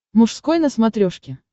мужской на смотрешке